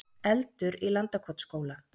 Eldur í Landakotsskóla